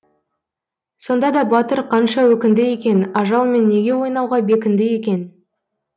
сонда да батыр қанша өкінді екен ажалмен неге ойнауға бекінді екен